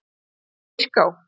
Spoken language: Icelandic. Myrká